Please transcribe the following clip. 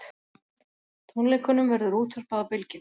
Tónleikunum verður útvarpað á Bylgjunni